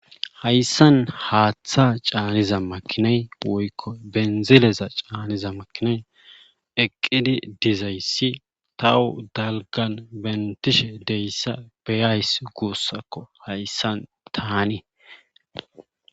Hayssan haaththa caaniza makinay woykko benzileza caaniza makinay eqqidi dizayssi tahu dalgan bentishe deyssa beyays guussakko hayssan taani